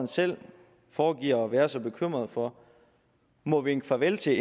selv foregiver at være så bekymret for må vinke farvel til